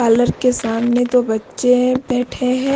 Parlour के सामने तो बच्चे बैठे हैं।